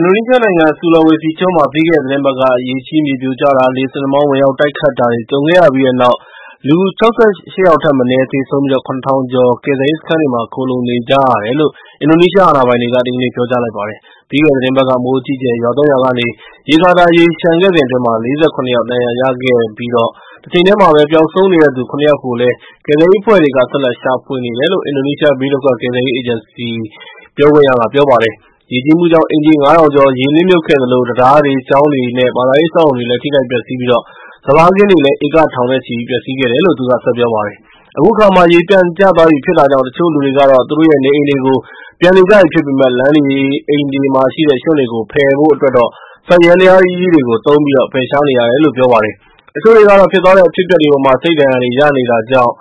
အင်ဒိုနီးရှားနိုင်ငံ ဆူလာဝေစီကျွန်းမှာ ပြီးခဲ့တဲ့ သီတင်းပတ်က ရေကြီး မြေပြိုကျတာ၊ လေဆင်နှာမောင်း ဝင်ရောက်တိုက်ခတ်တာတွေ ကြုံခဲ့ရပြီးတဲ့နောက် ၊ လူ ၆၈ ယောက်ထက်မနည်းသေဆုံးပြီး၊ ၇ ထောင်ကျော် ကယ်ဆယ်ရေးစခန်းတွေမှာ ခိုလှုံနေကြရတယ်လို့ အင်ဒိုနီးရှား အာဏာပိုင်တွေက ဒီကနေ့ ပြောကြားလိုက်ပါတယ်။ ပြီးခဲ့တဲ့ သီတင်းပတ်က မိုးအကြီးအကျယ်ရွာသွန်းရာကနေ ရေကာတာ ရေလျှံခဲ့စဉ်အတွင်း ၄၇ ယောက် ဒဏ်ရာရခဲ့တဲ့တချိန်တည်းမှာပဲ၊ ပျောက်ဆုံးနေတဲ့သူ ၇ ယောက်ကို ကယ်ဆယ်ရေးအဖွဲ့တွေဟာ ဆက်လက်ရှာဖွေနေကြတယ်လို့ အင်ဒိုနီးရှားဘေးဒုက္ခကယ်ဆယ်ရေး အေဂျင်စီရဲ့ ပြောခွင့်ရကပြောပါတယ်။ ရေကြီးမှုကြောင့်အိမ်ခြေ ၅ ထောင်ကျော် ရေနစ်မြုပ်ခဲ့သလို၊ တံတားတွေ၊ ကျောင်းတွေ၊ နဲ့ ဘာသာရေး အဆောက်အအုံတွေလည်း ထိခိုက်ပျက်စီးပြီး၊ စပါးခင်းတွေလည်း ဧကထောင်နဲ့ချီပျက်ဆီးခဲ့တယ်လို့ သူကဆက်ပြောပါတယ်။ အခုအခါမှ ရေပြန်ကျသွားပြီးဖြစ်တာကြောင့် တချို့လူတွေကတော့ သူတို့ရဲ့ နေအိမ်တွေကို ပြန်နေကြပြီဖြစ်ပေမယ့်၊ လမ်းတွေ၊ အိမ်တွေမှာရှိနေတဲ့ ရွှံတွေကို ဖယ်ပစ်ဖို့အတွက် စက်ယန္တရားကြီးတွေကို သုံးပြီး ဖယ်ရှားနေရတယ်လို့ ပြောပါတယ်။ တချို့တွေကတော့ ဖြစ်သွားတဲ့ အဖြစ်အပျက်တွေအပေါ်မှာ စိတ်ဒဏ်ရာတွေရခဲ့တာကြောင့်